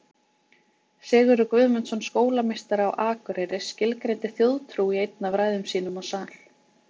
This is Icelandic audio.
Sigurður Guðmundsson skólameistari á Akureyri skilgreindi þjóðtrú í einni af ræðum sínum á sal.